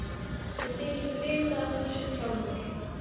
Ég þykist vita að þú sért Hjálmar.